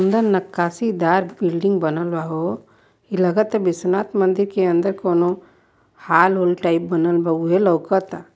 नक्काशीदार building बनल बा हो| इ लागत है विश्वनाथ मंदिर के अंदर कोनो हाल होल टाइप बनल बा ऊहे लाऊकता।